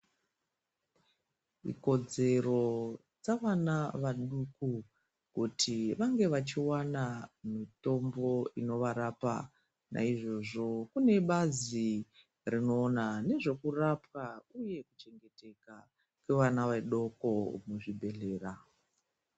Ikodzero dzavana vaduku kuti vange vachiwana mitombo inovarapa naizvozvo kune bazi rinoona nezvekurapwa uye kuchengetedzwa kwevana vadoko muzvibhehleya.